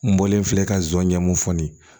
N bɔlen filɛ ka nsonɲɛ mun fɔ nin ye